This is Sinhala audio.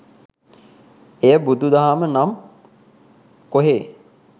එය බුදු දහම නම් කොහේ